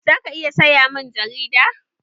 Za ka iya saya mun jigida?